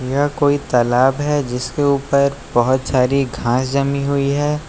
यह कोई तालाब है जिसके ऊपर बहुत सारी घास जमी हुई है।